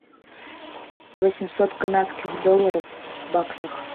восемьсот канадских долларов в баксах